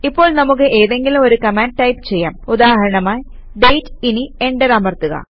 ഇപ്പോൾ നമുക്ക് ഏതെങ്കിലും ഒരു കമാൻഡ് ടൈപ് ചെയ്യാം ഉദാഹരണമായി ഡേറ്റ് ഇനി എന്റർ അമർത്തുക